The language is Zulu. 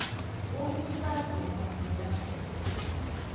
bokukhubazeka obuvela kudokotela